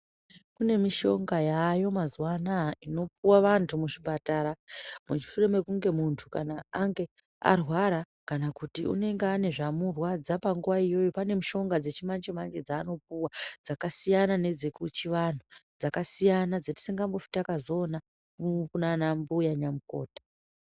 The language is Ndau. Kune mishonga yaayo mazuwa anaa unopuwa vanhu muchipatara pashure pekuti munhu ange arwara kana une chirikumurwadza panguwa iyoyo. Pane mishonga dzechimanje manje dzaanopuwa dzakasiyana nedzekuchiantu. Dzakasiyana dzatisingazombofi takazodziona kunanambuya nyamukuta.